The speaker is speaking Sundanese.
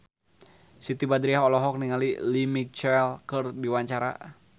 Siti Badriah olohok ningali Lea Michele keur diwawancara